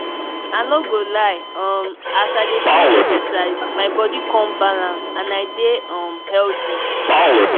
i no go lie um as i dey do exercise my body come balance and i dey um healthy.